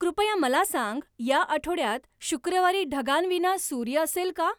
कृपया मला सांग या आठवड्यात शुक्रवारी ढगांविना सूर्य असेल का?